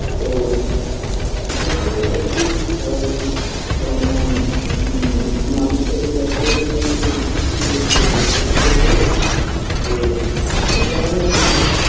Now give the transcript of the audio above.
তো দেখা কতদূর কি করা যায় কেননা ম মানুষটাকে যাই করুক না কেন atleast বাঁচাতে তো হবে তো সেই কারণে আর কি